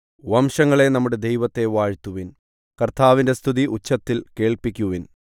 വംശങ്ങളേ നമ്മുടെ ദൈവത്തെ വാഴ്ത്തുവിൻ കർത്താവിന്റെ സ്തുതി ഉച്ചത്തിൽ കേൾപ്പിക്കുവിൻ